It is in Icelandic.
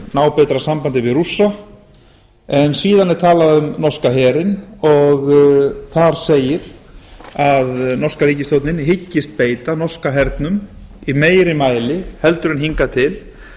ná betra sambandi við rússa en síðan er talað um norska herinn og þar segir að norska ríkisstjórnin hyggist beita norska hernum í meira mæli en hingað til til